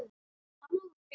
Það má vera rétt.